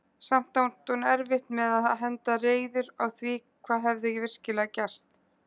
Samt átti hún erfitt með að henda reiður á því hvað hefði virkilega gerst.